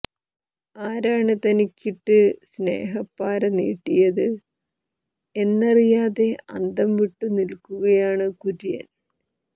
ആരാണ് തനിക്കിട്ട് സ്നേഹപ്പാര നീട്ടിയത് എന്നറിയാതെ അന്തം വിട്ടു നിൽക്കുകയാണ് കുര്യൻ